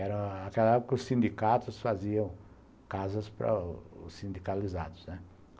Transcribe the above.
Era aquela época que os sindicatos faziam casas para os sindicalizados, né?